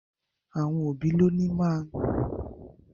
Àwon òbí lònìí má n